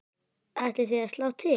Ætlið þið að slá til?